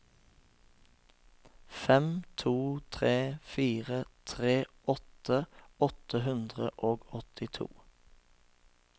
fem to tre fire trettiåtte åtte hundre og åttito